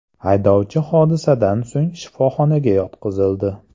Haydovchi hodisadan so‘ng shifoxonaga yotqizildi.